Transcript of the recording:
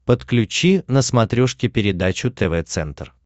подключи на смотрешке передачу тв центр